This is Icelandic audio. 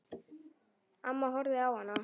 Amma horfði á hana.